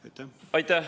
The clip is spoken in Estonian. Aitäh!